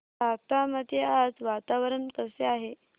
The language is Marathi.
राहता मध्ये आज वातावरण कसे आहे